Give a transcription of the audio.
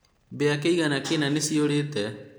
mbia kĩĩgana kĩna niciũrite